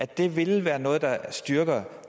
det vil det være noget der styrker